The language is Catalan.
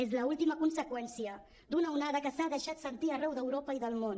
és l’última conseqüència d’una onada que s’ha deixat sentir arreu d’europa i del món